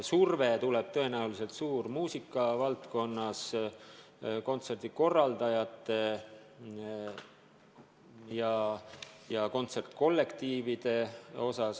Surve tuleb tõenäoliselt suur muusikavaldkonnas, kontserdikorraldajate ja kontsertkollektiivide poolt.